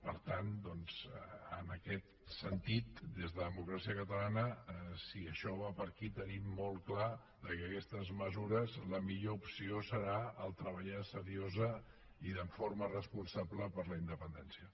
per tant doncs en aquest sentit des de democràcia catalana si això va per aquí tenim molt clar que d’aquestes mesures la millor opció serà treballar seriosament i de forma responsable per la independència